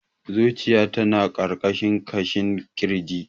Zuciya ta na ƙarƙashin ƙashin kirji.